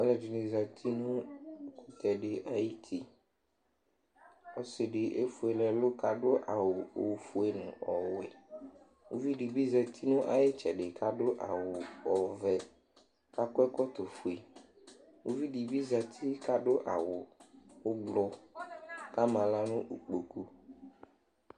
aloɛdini zati no ɛkutɛ di ayiti ɔse di efuele ɛlu k'ado awu ofue no ɔwɛ uvi di bi zati no ay'itsɛdi k'ado awu ɔvɛ k'akɔ ɛkɔtɔ fue uvi di bi zati k'ado awu ublɔ k'ama ala no ikpoku